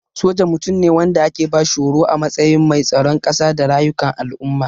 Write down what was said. Soja Mutum ne wanda ake bashi horo a matsayin mai tsaron kasa da rayukan al'umma.